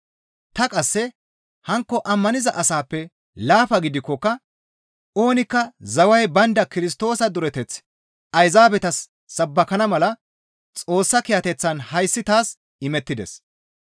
Ta qasse hankko ammaniza asaappe laafa gidikkoka oonikka zaway baynda Kirstoosa dureteth Ayzaabetas sabbakana mala Xoossa kiyateththan hayssi taas imettides.